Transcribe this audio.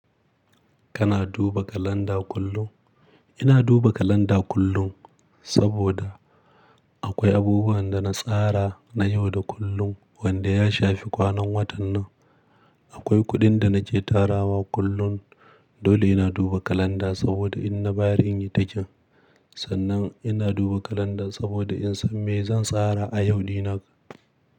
Kana duba kalanda kullum? Ina duba kalanda kullum, saboda akwai abubuwan da na tsara na yau da kullum wanda ya shafi kwanan watan nan. Akwai kuɗin da nake tarawa kullum, dole ina duba kalanda saboda in na bayari in yi ticking. Sannan ina duba kalanda saboda in san me zan tsara a yau, di na.